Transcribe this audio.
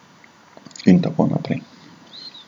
In tako naprej.